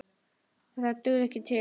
En það dugði ekki til.